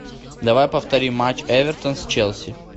давай повтори матч эвертон с челси